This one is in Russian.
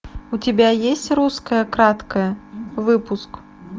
у тебя есть русское краткое выпуск